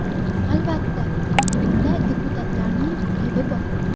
Albatta, bunda deputatlarning aybi bor.